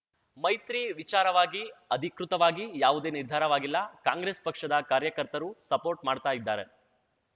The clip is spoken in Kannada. ಮೈತ್ರಿ ವಿಚಾರವಾಗಿ ಅಧಿಕೃತವಾಗಿ ಯಾವುದೇ ನಿರ್ಧಾರವಾಗಿಲ್ಲ ಕಾಂಗ್ರೆಸ್ ಪಕ್ಷದ ಕಾರ್ಯಕರ್ತರು ಸಪೋರ್ಟ್ ಮಾಡ್ತಾ ಇದ್ದಾರೆ